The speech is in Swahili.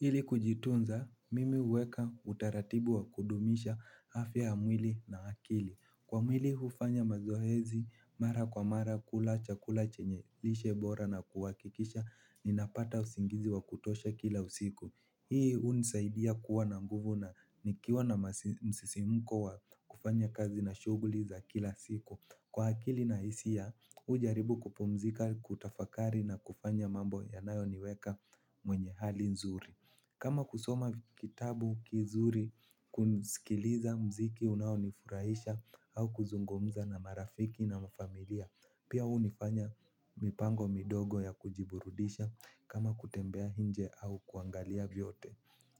Ili kujitunza, mimi huweka utaratibu wa kudumisha afya ya mwili na akili. Kwa mwili ufanya mazoezi, mara kwa mara, kula chakula chenye lishe bora na kuwakikisha, ninapata usingizi wa kutosha kila usiku. Hii unisaidia kuwa na nguvu na nikiwa na msisimko wa kufanya kazi na shuguli za kila siku. Kwa akili na isia, ujaribu kupumzika kutafakari na kufanya mambo yanayoniweka mwenye hali nzuri. Kama kusoma kitabu kizuri kusikiliza mziki unaonifurahisha au kuzungumza na marafiki na mafamilia. Pia unifanya mipango midogo ya kujiburudisha kama kutembea nje au kuangalia vyote.